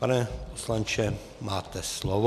Pane poslanče, máte slovo.